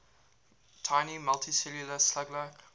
tiny multicellular slug like